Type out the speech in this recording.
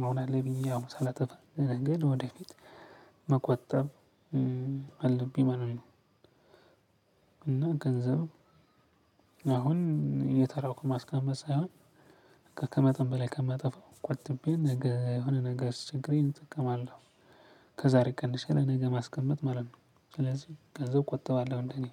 ምሆናለ ብዬ አሁን ሳላጠፋ ለነገ ወደፊት መቆጠብ አለብኝ ማለት ነው። እና ገንዘብ አሁን እየተራቁ ማስቀመጥ ሳይሆን ከመጠን በላይ ከማጠፋው ቆጥቤ ነገ የሆነ ነገር ሲቸግሬን እጠቀማለሁ። ከዛሬ ቀንሼ ለነገ ለማስቀመጥ ማለጥ ማለት ነው። ስለዚህ ገንዘብ ቆጥበዋለሁ እንደኔ።